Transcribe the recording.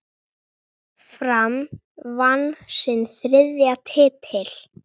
Fram vann sinn þriðja titil.